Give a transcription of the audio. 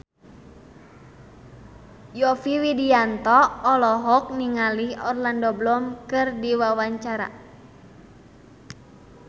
Yovie Widianto olohok ningali Orlando Bloom keur diwawancara